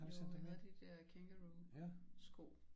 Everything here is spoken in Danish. Jo vi havde de der Kangaroo sko